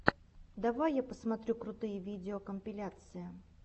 давай я посмотрю крутые видеокомпиляции